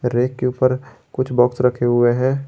Rack के ऊपर कुछ बॉक्स रखे हुए हैं।